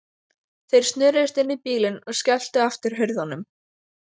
Þeir snöruðust inn í bílinn og skelltu aftur hurðunum.